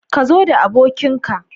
Ka zo da abokin ka